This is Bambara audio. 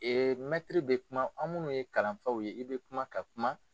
mɛtiri bɛ kuma anw munnu ye kalanfaw ye i bɛ kuma ka kuma.